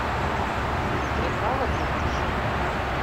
приправа для борща